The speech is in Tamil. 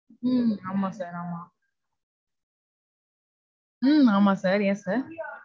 உம் ஆமா sir. ஆமா. உம் ஆமா sir, yes sir.